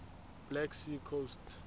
black sea coast